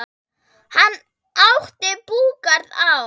Hann átti búgarð á